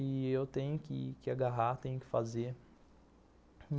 E eu tenho que agarrar, tenho que fazer.